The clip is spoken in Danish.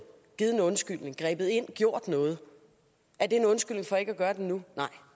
givet en undskyldning grebet ind gjort noget er det en undskyldning for ikke at gøre det nu nej